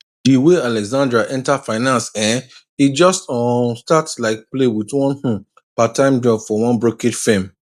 di way alexandra enter finance[um]e just um start like play with one um parttime job for one brokerage firm